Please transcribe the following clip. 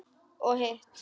Og hitt?